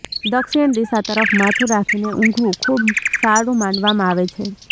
દક્ષિણ દિશા તરફ માથું રાખીને ઊંઘવું ખુબ સારું માનવામાં આવે છે